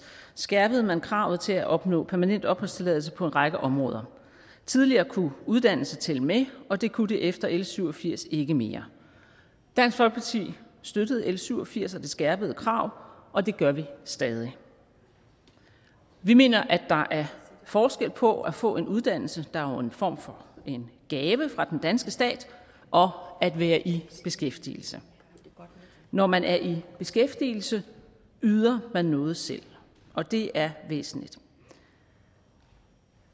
skærpede man kravet til at opnå permanent opholdstilladelse på en række områder tidligere kunne uddannelse tælle med og det kunne det efter l syv og firs ikke mere dansk folkeparti støttede l syv og firs og det skærpede krav og det gør vi stadig vi mener at der er forskel på at få en uddannelse der jo er en form for en gave fra den danske stat og at være i beskæftigelse når man er i beskæftigelse yder man noget selv og det er væsentligt